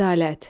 Ədalət.